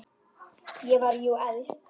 Ég var jú elst.